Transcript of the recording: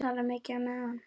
Tala mikið á meðan.